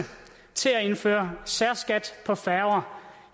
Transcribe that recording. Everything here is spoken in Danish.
til at indføre særskat for færger